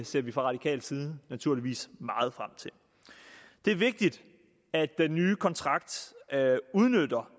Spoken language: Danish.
ser vi fra radikal side naturligvis meget frem til det er vigtigt at den nye kontrakt udnytter